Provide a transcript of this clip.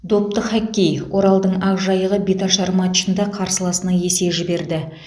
допты хоккей оралдың ақжайығы беташар матчында қарсыласына есе жіберді